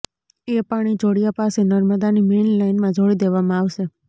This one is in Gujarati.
એ પાણી જોડિયા પાસે નર્મદાની મેઇન લાઇનમાં જોડી દેવામાં આવશે